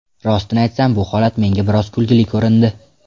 Rostini aytsam, bu holat menga biroz kulguli ko‘rindi.